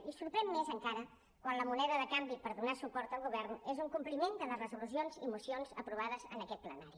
i sorprèn més encara quan la moneda de canvi per donar suport al govern és un compliment de les resolucions i mocions aprovades en aquest plenari